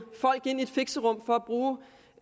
folk ind i et fixerum for